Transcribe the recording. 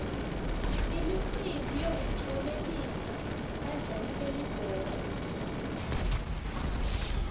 imicimbi yokutlomelisa badlali belibhola